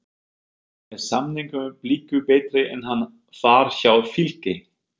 Er samningur Blika betri en hann var hjá Fylki?